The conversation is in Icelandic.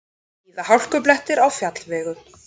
Víða hálkublettir á fjallvegum